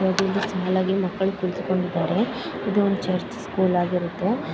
ಸಾಲಾಗಿ ಮಕ್ಕಳು ಕುಳಿತುಕೊಂಡಿದ್ದಾರೆ ಇದು ಒಂದು ಚರ್ಚ ಸ್ಕೂಲಾ ಗಿರತ್ತೆ .